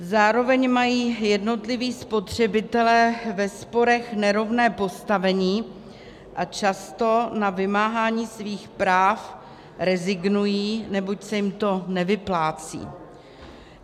Zároveň mají jednotliví spotřebitelé ve sporech nerovné postavení a často na vymáhání svých práv rezignují, neboť se jim to nevyplácí.